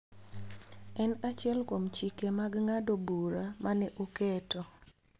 En achiel kuom chike mag ng�ado bura ma ne oketo.